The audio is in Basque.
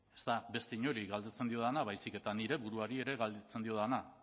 ez da beste inori galdetzen diodana baizik eta nire buruari ere galdetzen diodana